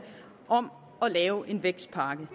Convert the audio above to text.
om at lave en vækstpakke